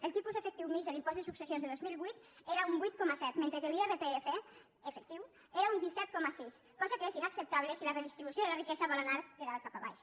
el tipus efectiu mitjà de l’impost de successions de dos mil vuit era un vuit coma set mentre que l’irpf efectiu era un disset coma sis cosa que és inacceptable si la redistribució de la riquesa vol anar de dalt cap a baix